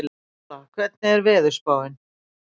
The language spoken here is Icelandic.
Úrsúla, hvernig er veðurspáin?